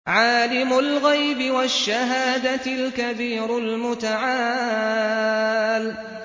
عَالِمُ الْغَيْبِ وَالشَّهَادَةِ الْكَبِيرُ الْمُتَعَالِ